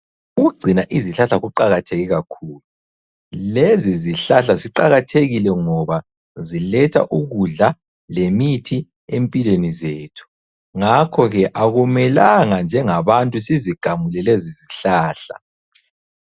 Ukugcina izihlahla kuqakatheke kakhulu. Lezi izihlahla ziqakathekile ngoba ziletha ukudla, lemithi empilweni zethu. Ngakho ke akumelanga njengabantu sizigamule lezi zihlahla.